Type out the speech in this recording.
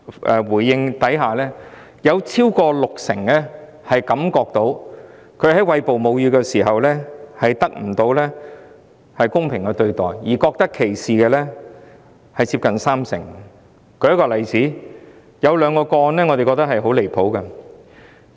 該項研究發現，超過六成的受訪婦女認為，她們在餵哺母乳時得不到公平的對待，而接近三成受訪婦女更覺得被歧視。